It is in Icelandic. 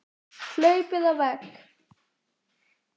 Hlaupið á vegg